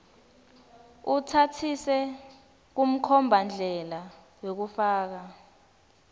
utsatsise kumkhombandlela wekufaka